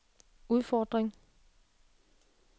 udfordring